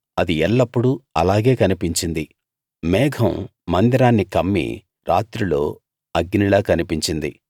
అది ఎల్లప్పుడూ అలాగే కనిపించింది మేఘం మందిరాన్ని కమ్మి రాత్రిలో అగ్నిలా కనిపించింది